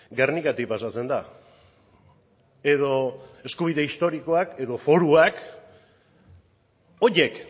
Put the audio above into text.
gernikatik pasatzen da edo eskubide historikoak edo foruak horiek